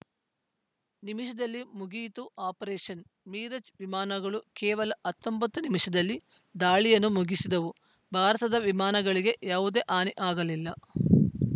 ನಿಮಿಷದಲ್ಲಿ ಮುಗಿಯಿತು operation mirage ವಿಮಾನಗಳು ಕೇವಲ ಹತ್ತೊಂಬತ್ತು ನಿಮಿಷದಲ್ಲಿ ದಾಳಿಯನ್ನು ಮುಗಿಸಿದವು ಭಾರತದ ವಿಮಾನಗಳಿಗೆ ಯಾವುದೇ ಹಾನಿ ಆಗಲಿಲ್ಲ